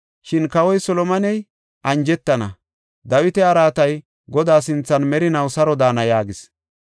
Shin Kawoy Solomoney anjetana; Dawita araatay Godaa sinthan merinaw saro daana” yaagis.